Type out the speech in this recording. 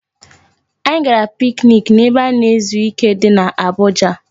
Anyị gara piknik n'ebe a na-ezu ike di n'Abuja